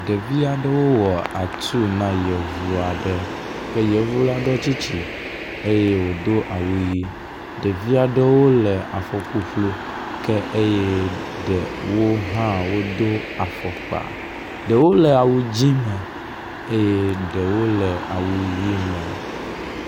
Ɖevi aɖewo wɔ atu na yevu aɖe ke yevu la ɖɔ tsitsi eye wodo awu ʋi. Ɖevi aɖewo le afɔ ƒuƒlu ke eye ɖewo hã wodo afɔkpa. Ɖewo le awu dzi me eye ɖewo le awu ʋi me.